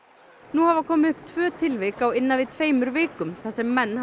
nú hafa komið upp tvö tilvik á innan við tveimur vikum þar sem menn